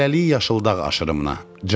Hələlik Yaşıl dağ aşırımına.